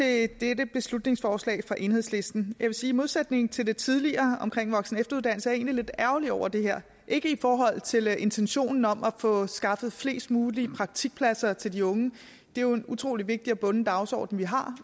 af dette beslutningsforslag fra enhedslisten jeg vil sige at i modsætning til det tidligere om voksen og efteruddannelse er jeg egentlig lidt ærgerlig over det her ikke i forhold til intentionen om at få skaffet flest mulige praktikpladser til de unge det er jo en utrolig vigtig og bunden dagsorden vi har